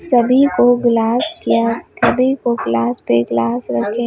सभी को ग्लास या कभी को ग्लास पे ग्लास रखें।